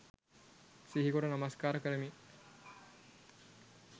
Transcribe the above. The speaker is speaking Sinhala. සිහිකොට නමස්කාර කරමි.